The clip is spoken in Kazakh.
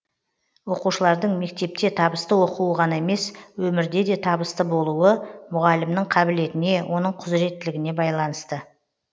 оқушылардың мектепте табысты оқуы ғана емес өмірде де табысты болуы мұғалімнің қабілетіне оның құзыреттілігіне байланысты